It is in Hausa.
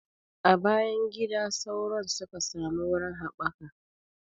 A bayan gida sauron suka samu wurin haɓaka